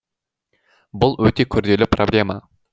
бұл өте күрделі проблема